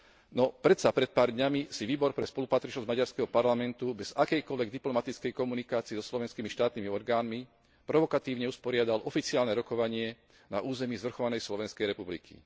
No predsa, pred pár dňami si výbor pre spolupatričnosť maďarského parlamentu bez akejkoľvek diplomatickej komunikácie so slovenskými štátnymi orgánmi provokatívne usporiadal oficiálne rokovanie na území zvrchovanej Slovenskej republiky.